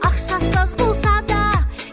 ақшасы аз болса да